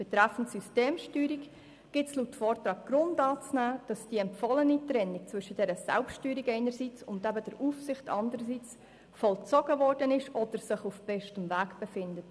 Betreffend Systemsteuerung gibt es laut Vortrag Grund anzunehmen, dass die empfohlene Trennung zwischen Selbststeuerung und Aufsicht vollzogen wurde oder sich auf bestem Weg befindet.